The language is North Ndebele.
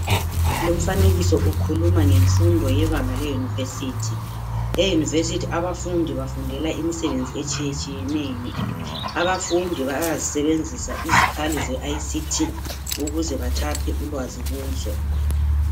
Lumfanekiso ukhuluma ngemfundo yebanga le University. E Unirvesity abafundi bafundela imisebenzi etshiyetshiyeneyo. Abafundi bayazisebenzisa izikhali zeICT ukuze bathaphe ulwazi kuzo.